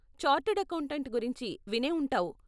Chartered accountant గురించి వినే ఉంటావు.